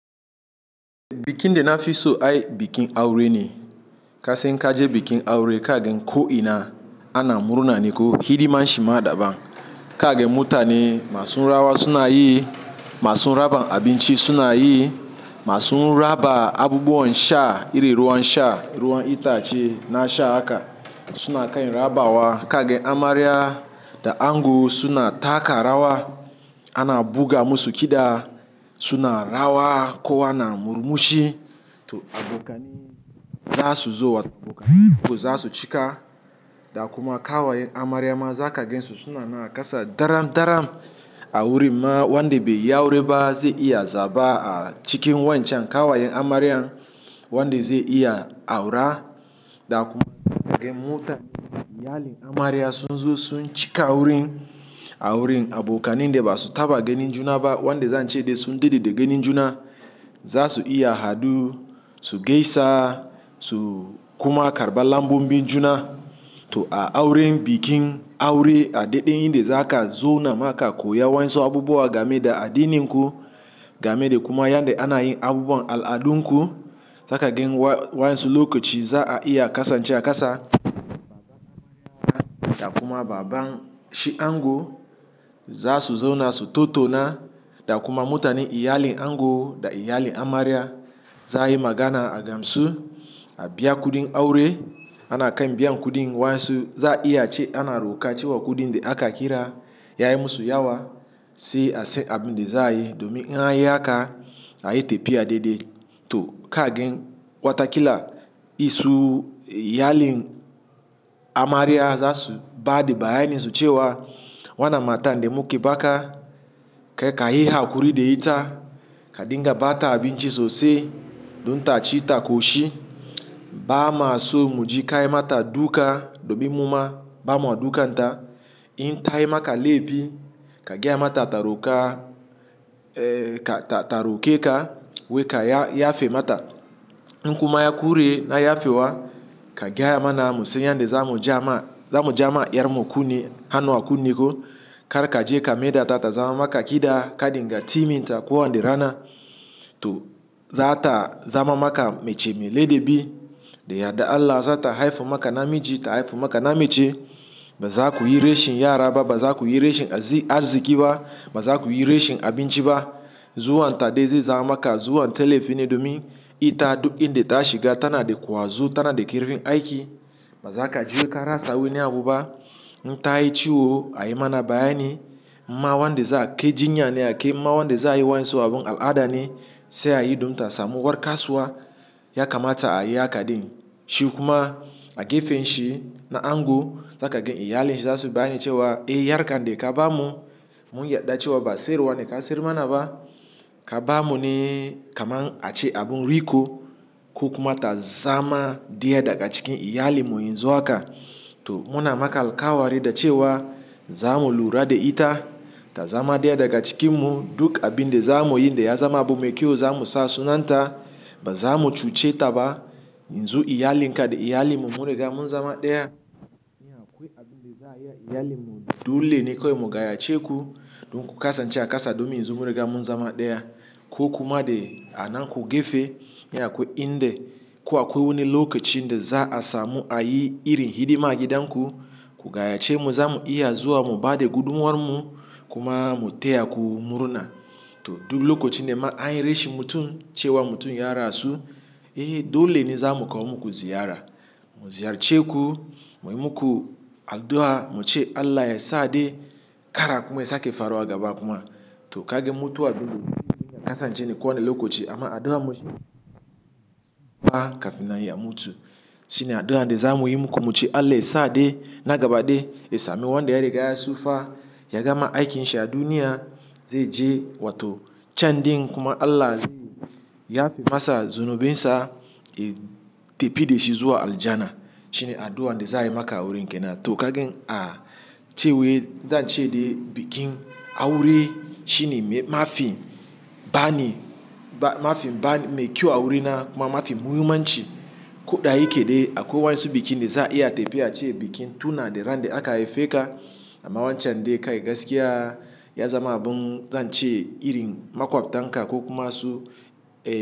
Bikin de na fi so ai bikin aure ne. Kasan in kaje bikin aure, kage ko ina ana murna ne ko. Hidima shi ma daban. Kage mutane masu rawa suna yi, masu raba abinci suna yi, masu raba abubuwan sha iri ruwan sha, ruwan itace na sha haka suna kai rabawa. Kage amarya da ango suna taka rawa, ana buga musu kiɗa suna rawa, kowa na murmushi. To abokani za su zo wa abokanai ku za su cika. Da kuma ƙawayen amarya ma za ka gansu suna naƙasa daram daram aure. Ma wanda bai yi aure ba zai iya zaba a cikin waencan ƙawayen amarya wanda zai iya aura. Da kuma mutanen iyalin amarya sun zo sun cika auren. Auren abokani dai ba su taba ganin juna ba wanda zan ce dai sun dadde da ganin juna. Za su iya hadu, su gaisa su kuma karɓi lambobin juna. To a auren, bikin aure a daɗe inde za ka zo namaka koya wa yansu abubuwa game da addinin ku, game da kuma yanda ana yin abubuwan al'adunku. Za ka gan waensu lokaci za a iya ƙasance a ƙasa. Da kuma baban shi ango za su zauna su tottauna. Da kuma mutanen iyalin ango da iyalin amarya za a yi magana a gansu. A biya kuɗin aure. Ana kai biyan kuɗin wa yansu za iya cewa ana roƙa cewa kuɗin de aka kira ya yi musu yawa. Sai a sai abin de za a yi domin in an yi haka a yi tafiya dai dai. To kage wataƙila isu iyalin amarya za su ba da bayani sucewa wannan matar de muke baƙa kai ka yi haƙuri da ita. Ka dinga ba ta abinci sosai. Dun ta ci ta ƙoshi. Ba ma so mu ji ka yi mata duka domin mu ma ba mua dukan ta. In ta yi maka laifi, ka gaya mata ta roka ta roƙe ka. Wai ka yafe mata. In kuma ya ƙure na yafe wa, ka gaya mana mu san yanda za mu ja ma, za mu ja ma iyar mu kunne. Hano a kunne ko kar ka je ka maida ta ta zama maka ƙida. Ka dinga timinta kowa de rana. To za ta zama maka mace mai ladabi. Da yardar Allah za ta haifo maka namiji, ta haifo maka namace. Ba za ku yi rashin yara ba. Ba za ku yi rashin arziki ba. Ma za ku yi rashin abinci ba. Zuwan ta dai zai zama maka zuwan ta laifi ne domin ita duk inde ta shiga tana da ƙwazo, tana da kirfin aiki. Ba za ka ji ka rasa wani abu ba. In ta yi ciwo a yi mana bayani. Ma wanda za a ke jinya ne ake. Ma wanda za a yi wa yansu abun al'ada ne sai a yi dun ta samu gwarkaswa ya kamata a yi haka din. Shi kuma a gefen shi na ango za ka gan iyalin shi za su bayani cewa, "Eh, yar kan de ka bamu mun yarda cewa ba sai ruwa ne ka sayar mana ba. Ka bamu ne kamar a ce abun riƙo." Ku kuma ta zama ɗaya daga cikin iyalin mu in zo haka. To muna maka alkawari da cewa za mu lura da ita, ta zama ɗaya daga cikin mu duk abin de za mu yi da ya zama abu mai kyau za mu sa sunan ta. Ba za mu cuce ta ba. In zo iyalin ka da iyalin mu mun riga mun zama ɗaya. Ni a ƙwai abin de za a yi a iyalin mu dole ne kawai mu gaya ce ku. Don ku ƙasan ce a ƙasa domin yanzu mun riga mun zama ɗaya. Ko kuma de anan ku gefe. Ni aƙwai inde ko a ƙwai wani lokaci de za a samu a yi irin hidima a gidan ku, ku gaya ce mu za mu iya zuwa mu ba da gudumawarmu. Kuma mu taya ku murna. To duk lokacin de ma anyi rashin mutum cewa mutum ya rasu, eh dole ne za mu kawo muku ziyara. Mu ziyarce ku, muyi muku addu'a, muce Allah ya sa dai ƙara kuma ya sake farawa gaba kuma. To kaga mutuwa ne dole amman ya kasance ko wane lokaci amma addu'an mu ba kafin nan ya mutu. Shine addu'an de za muyi muku muce Allah ya sa dai na gaba dai ya sami wanda ya riga ya sufaa, ya gama aikin sha duniya zai je wato can din kuma Allah zai yafe masa zunubinsa, ya tafi da shi zuwa aljanna. Shine addu'an de za a yi maka wurin kenan. To kaga a ce wai zan ce dai bikin aure shine mafi bani, mafi bani mai kyau aure na kuma mafi muhimmanci. Ko da yake dai akwai wansu bikin de za a iya tafiya a ce bikin tuna da ran de aka haife ka. Amma wancan dai kan gaskiya ya zama abun zan ce irin makwabtan ka ko kuma su.